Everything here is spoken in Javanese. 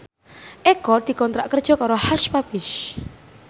Eko dikontrak kerja karo Hush Puppies